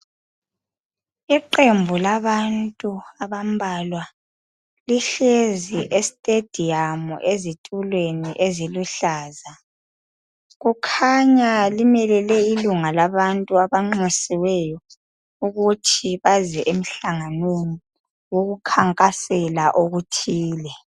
Iqembu labantu abambalwa lihlezi estediyamu ezitulweni eziluhlaza. Kukhanya limelele ilunga labantu abanxusiweyo ukuthi baze emhlanganweni ukuthi bazokukhankasela okuthile.